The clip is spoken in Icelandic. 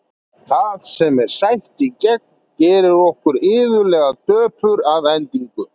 Það sem er sætt í gegn gerir okkur iðulega döpur að endingu.